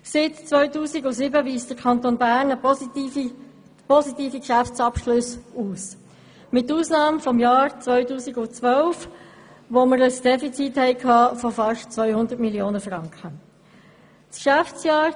Seit 2007 weist der Kanton Bern positive Geschäftsabschlüsse aus, mit Ausnahme des Jahres 2012, als ein Defizit von fast 200 Mio. Franken resultierte.